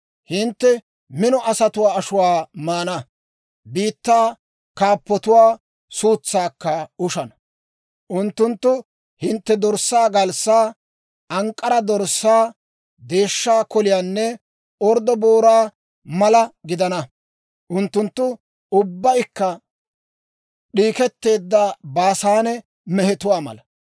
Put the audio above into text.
Hintte mino asatuwaa ashuwaa maana; biittaa kaappotuwaa suutsaakka ushana. Unttunttu hinttew dorssaa galssaa, ank'k'ara dorssaa, deeshsha koliyaanne orddo booraa mala gidana. Unttunttu ubbaykka d'iiketteedda Baasaane mehetuwaa mala.